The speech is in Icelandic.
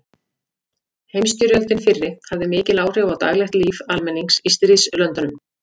Heimsstyrjöldin fyrri hafði mikil áhrif á daglegt líf almennings í stríðslöndunum.